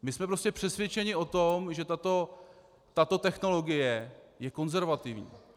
My jsme prostě přesvědčeni o tom, že tato technologie je konzervativní.